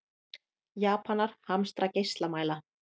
Japanar hamstra geislamæla